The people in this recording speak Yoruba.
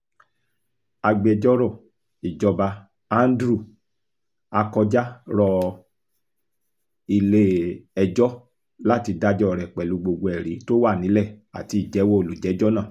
agbẹjọ́rò ìjọba andrew akọjá rọ ilé-ẹjọ́ láti dájọ́ rẹ̀ pẹ̀lú gbogbo ẹ̀rí tó wà nílẹ̀ àti ìjẹ́wọ́ olùjẹ́jọ́ náà